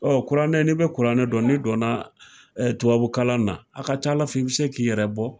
kuranɛ ni bɛ kuranɛ dɔn ni donna tubabukalan na a ka ca Ala fɛ I bɛ se k'i yɛrɛ bɔ.